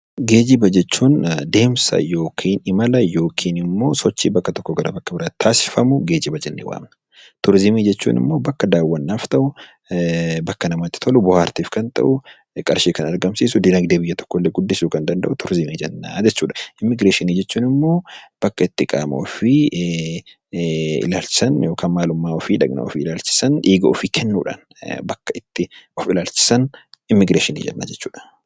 Geejiba jechuun deemsa yookiin imala yookiin immoo sochii gara tokkoo iddoo biraatti taasifamu geejiba jennee waamna. Turizimii jechuun immoo bakka daawwaaf ta'u bakka namatti tolu, bohaartiif kan ta'u, qarshii kan argamsiisu dinaagdee biyya tokko guddisuu kan danda'u turizimii jennaan. Immigireeshinii jechuun immoo bakka itti qaama ofii marsan eenyummaa ofii maalummaa ofii fi kennuudhaan kan bakka itti ittiin immigireeshinii jedhama.